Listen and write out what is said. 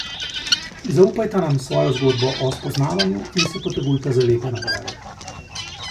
Zaupajta nam svojo zgodbo o spoznavanju in se potegujta za lepe nagrade.